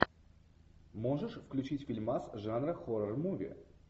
можешь включить фильмас жанра хоррор муви